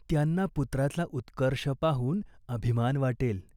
त्यांना पुत्राचा उत्कर्ष पाहून अभिमान वाटेल.